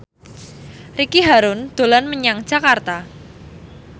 Ricky Harun dolan menyang Jakarta